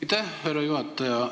Aitäh, härra juhataja!